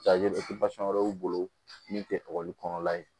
wɛrɛ b'u bolo min tɛ ekɔli kɔnɔna ye